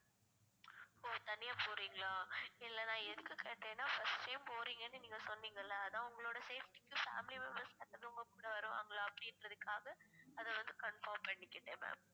ஓ தனியா போறீங்களா இல்லை நான் எதுக்கு கேட்டேன்னா first time போறீங்கன்னு நீங்க சொன்னீங்கல்ல அதான் உங்களோட safety க்கு family members உங்க கூட வருவாங்களா அப்படின்றதுக்காக அதை வந்து confirm பண்ணிக்கிட்டேன் ma'am